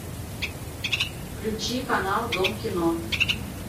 включи канал дом кино